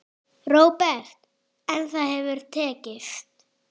Róbert: En það hefur tekist?